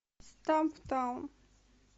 стамптаун